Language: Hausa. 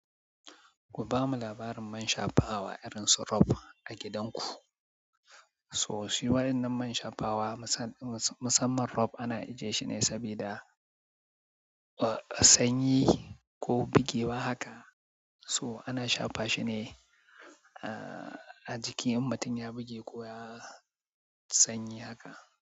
Ku bamu labarin man shafawa irin su Rub a gidanku. Toh, shi waɗannan man shafawa musamman Rub ana ajiye shi ne saboda sanyi ko bugewa haka. Toh ana shafa shi ne a jiki in mutum ya buge ko ya sanyi haka.